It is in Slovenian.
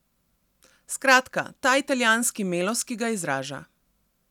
Skratka, ta italijanski melos, ki ga izraža.